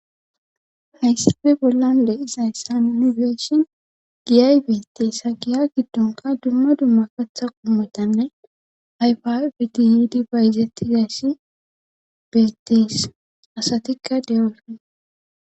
Hayssife bollan de izayssan yunifeeshin giyay beetes s ha giya giddonka dumma dumma katha qumitanne ayfa pitihidi bayizeti zayssi beetees asatikka deyoofe.